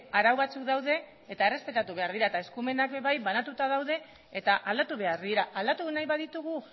arau batzuk daude eta errespetatu behar dira eta eskumenak ere bai banatuta daude eta aldatu behar dira aldatu nahi baditugu